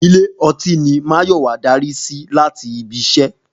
Ilé ọtí ni Máyọ̀wá darí sí láti ibi iṣẹ́